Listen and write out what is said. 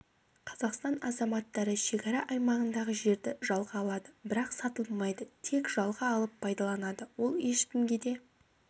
қазақстан азаматтары шекара аймағындағы жерді жалға алады бірақ сатылмайды тек жалға алып пайдаланады ол ешкімге де